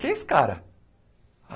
Quem é esse cara?